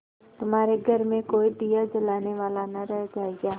तुम्हारे घर में कोई दिया जलाने वाला न रह जायगा